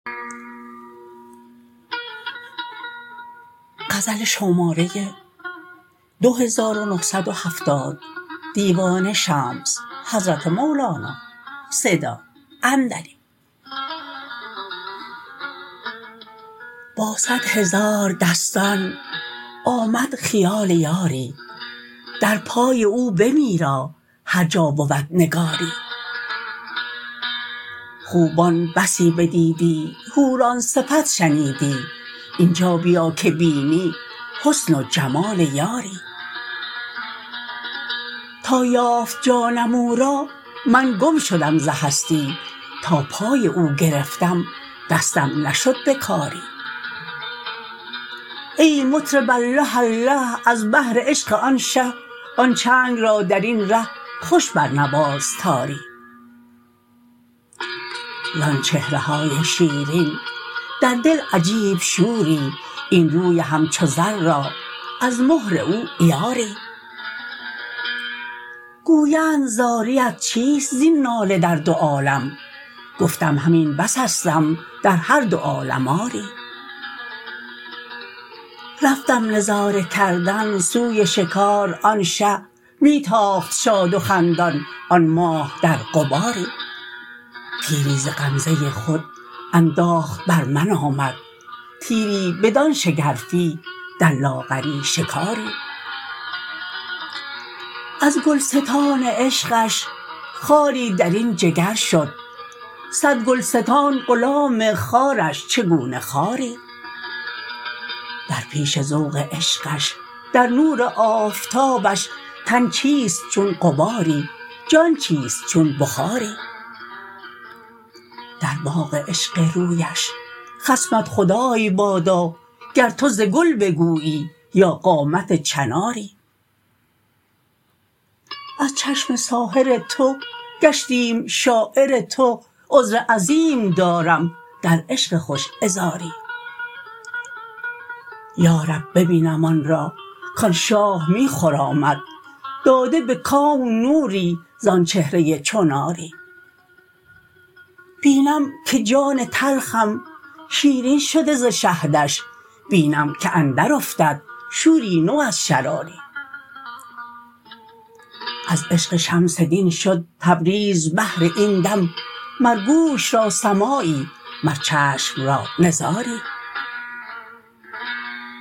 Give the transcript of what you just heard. با صد هزار دستان آمد خیال یاری در پای او بمیرا هر جا بود نگاری خوبان بسی بدیدی حوران صفت شنیدی این جا بیا که بینی حسن و جمال یاری تا یافت جانم او را من گم شدم ز هستی تا پای او گرفتم دستم نشد به کاری ای مطرب الله الله از بهر عشق آن شه آن چنگ را در این ره خوش برنواز تاری زان چهره های شیرین در دل عجیب شوری این روی همچو زر را از مهر او عیاری گویند زاریت چیست زین ناله در دو عالم گفتم همین بسستم در هر دو عالم آری رفتم نظاره کردن سوی شکار آن شه می تاخت شاد و خندان آن ماه در غباری تیری ز غمزه خود انداخت بر من آمد تیری بدان شگرفی در لاغری شکاری از گلستان عشقش خاری در این جگر شد صد گلستان غلام خارش چگونه خاری در پیش ذوق عشقش در نور آفتابش تن چیست چون غباری جان چیست چون بخاری در باغ عشق رویش خصمت خدای بادا گر تو ز گل بگویی یا قامت چناری از چشم ساحر تو گشتیم شاعر تو عذر عظیم دارم در عشق خوش عذاری یا رب ببینم آن را کان شاه می خرامد داده به کون نوری زان چهره چو ناری بینم که جان تلخم شیرین شده ز شهدش بینم که اندرافتد شوری نو از شراری از عشق شمس دین شد تبریز بهر این دم مر گوش را سماعی مر چشم را نظاری